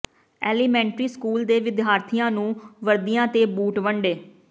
elementary school ਦੇ ਵਿਦਿਆਰਥੀਆਂ ਨੂੰ ਵਰਦੀਆਂ ਤੇ ਬੂਟ ਵੰਡੇ